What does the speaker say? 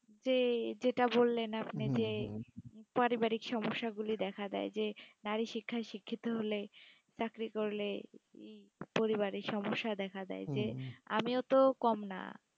যে, যেটা বললেন আপনি যে, পারিবারিক সমস্যাগুলি দেখা দেয় যে নারীশিক্ষায় শিক্ষিত হলে, চাকরি করলে, এই পরিবারে সমস্যা দেখা দেয়, যে আমিও তো কম না,